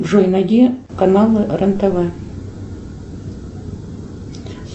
джой найди каналы рен тв